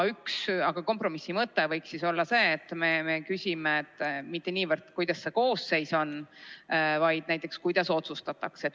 Aga kompromissi mõte võiks olla see, et me ei küsime mitte niivõrd, milline see koosseis on, vaid näiteks, kuidas otsustatakse.